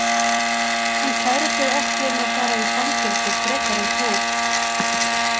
Hann kærir sig ekki um að fara í fangelsi frekar en þú.